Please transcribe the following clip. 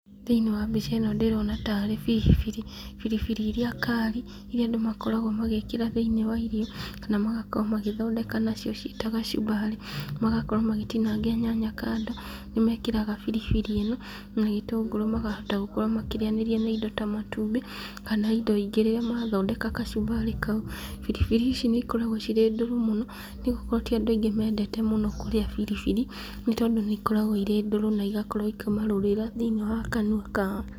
Thĩiniĩ wa mbica ĩno ndĩrona, tarĩ biribiri ,biribiri iria kari , iria andũ makoragwo magĩkĩra thĩiniĩ wa irio, kana magakorwo magĩthondeka nacio cita kacumbari, magakorwo magĩ citinangia nyanya kando , nĩmekĩraga biribiri ĩno na gĩtũngũrũ makahota gũkorwo makĩrĩa nĩria na indo ta matumbĩ, kana indo ingĩ rĩrĩa marĩa kacumbari kau ,biribiri icio nĩ cikoragwo cirĩ ndũrũ mũno, nĩgũkorwo ti andũ aingĩ maendete kũrĩa biribiri , nĩ tondũ nĩ ĩkoragwo iri ndũrũ na igakorwo ikĩmarũrĩra thĩiniĩ wa kanua kao.